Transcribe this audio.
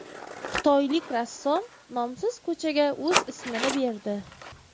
Xitoylik rassom nomsiz ko‘chaga o‘z ismini berdi.